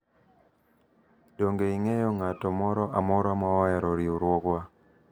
donge ing'eyo ng'ato moro amora ma ohero riwruogwa